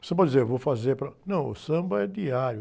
Você pode dizer, vou fazer para... Não, o samba é diário.